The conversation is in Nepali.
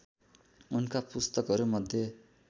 उनका पुस्तकहरूमध्ये